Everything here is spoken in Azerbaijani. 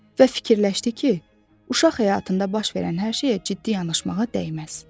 Və fikirləşdi ki, uşaq həyatında baş verən hər şeyə ciddi yanaşmağa dəyməz.